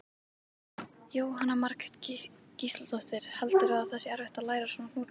Jóhanna Margrét Gísladóttir: Heldurðu að það sé erfitt að læra svona hnúta?